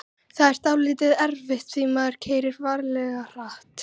Það var dálítið erfitt því maðurinn keyrði ferlega hratt.